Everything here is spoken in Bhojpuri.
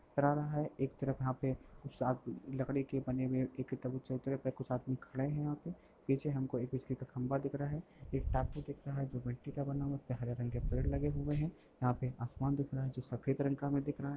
रहा है। एक तरफ यहाँ पे कुछ लकड़ी के बने हुए एक चबूतरे पर कुछ आदमी खड़े हैं। यहाँ पे पीछे हमको एक बिजली का खंभा दिख रहा है। एक टापू दिख रहा है जो मिट्टी का बना हुआ है उस पे हरे रंग के पेड़ लगे हुए हैं। यहाँ पे आसमान दिख रहा है जो सफेद रंग का हमें दिख रहा है।